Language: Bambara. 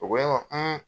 U ko ne ma